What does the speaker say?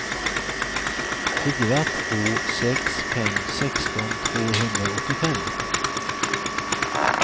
fyra två sex fem sexton tvåhundraåttiofem